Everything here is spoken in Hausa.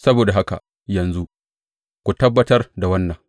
Saboda haka yanzu, ku tabbatar da wannan.